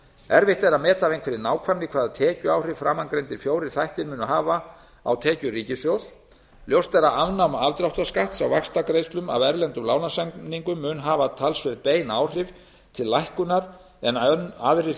erfitt er að meta af einhverri nákvæmni hvaða tekjuáhrif framangreindir fjórir þættir muni hafa á tekjur ríkissjóðs ljóst er að afnám afdráttarskatts á vaxtagreiðslum af erlendum lánasamningum mun hafa umtalsverð bein áhrif til lækkunar en aðrir